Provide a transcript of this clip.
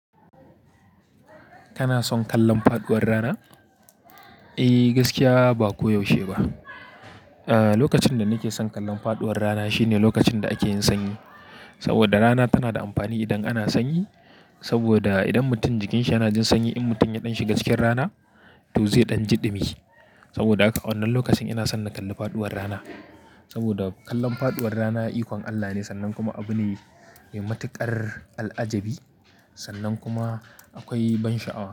Kana son kallon faduwar rana? E, gaskiya ba ko yaushe ba. Lokacin da nake son kallon faduwar rana shine lokacin da ake yin sanyi. Saboda rana tana da amfani idan ana sanyi. Saboda idan mutum jikin shi yana jin sanyi, in mutum ya ɗan shiga cikin rana, to zai ɗan ji ɗimi. Saboda haka a wannan lokacin ina son na kalli faɗuwar rana. Saboda kallon faduwar rana ikon Allah ne sannan kuma abu ne mai matuƙar al'ajabi sannan kuma akwai bansha'awa.